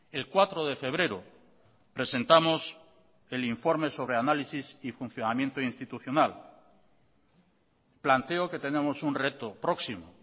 el cuatro de febrero presentamos el informe sobre análisis y funcionamiento institucional planteo que tenemos un reto próximo